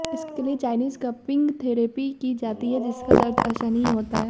इसके लिए Chinese cupping therapy की जाती है जिसका दर्द असहनीय होता है